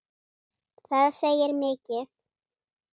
Það segir mikið.